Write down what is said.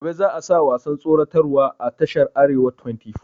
Gobe za a sa wasan tsoratar wa a tashar arewa twenty four